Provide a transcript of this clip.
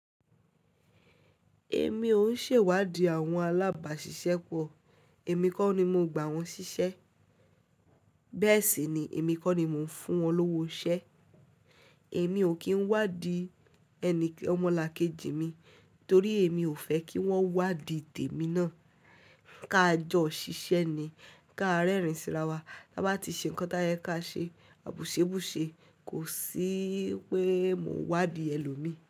Èmi ò ń ṣe ìwádìí àwọn alábàáṣiṣẹ́ pọ̀, èmi kọ́ ni mo gba wọn ṣiṣẹ́, bẹ́ẹ̀ sì ni èmi kọ́ ni mò ń fún wọn lówó ọṣẹ. Èmi ò kí ń wádìí ẹni ọmọlàkejì mi torí èmi ò fẹ́ kí wọ́n wádìí tèmi náà. Ka jọ ṣiṣẹ́ ni, ka rẹ́rìn síra wa, tí a bá ti ṣe nǹkan táyẹ ká ṣe, àbúṣé búṣé kò sí pé mò ń wádìí ẹlòmí.